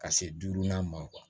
Ka se duurunan ma